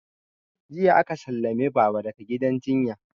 Jiya aka sallame baba daga gidan jinya